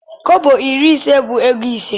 Kọbọ iri ise bu ego ise.